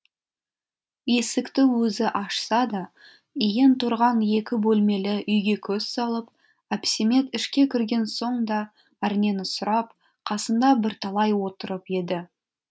есікті өзі ашса да иен тұрған екі бөлмелі үйге көз салып әпсемет ішке кірген соң да әрнені сұрап қасында бірталай отырып еді